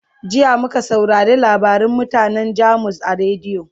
jiya muka saurare labarin mutanan jamus a rediyo